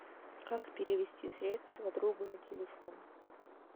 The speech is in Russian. как перевести средства другу на телефон